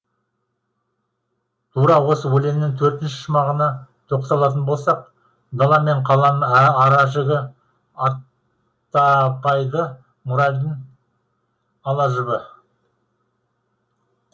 тура осы өлеңнің төртінші шумағына тоқталатын болсақ дала менен қаланың ара жігі аттапайды моральдың ала жібі